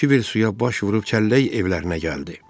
Kiver suya baş vurub kəllək evlərinə gəldi.